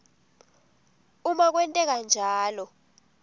uma kwenteka njalo